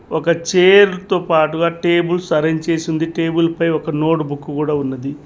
ఒక చైర్ తో పాటుగా టేబుల్స్ అరేంజ్ చేసి ఉంది టేబుల్ పై ఒక నోట్ బుక్ కూడా ఉన్నది.